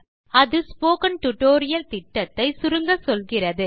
அது spoken tutorial திட்டத்தை சுருங்கச்சொல்கிறது